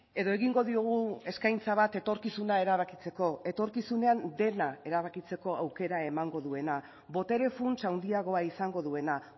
edo egingo diogu eskaintza bat etorkizuna erabakitzeko etorkizunean dena erabakitzeko aukera emango duena botere funts handiagoa izango duena